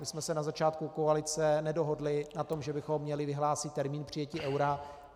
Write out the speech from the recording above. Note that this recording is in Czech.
My jsme se na začátku koalice nedohodli na tom, že bychom měli vyhlásit termín přijetí eura.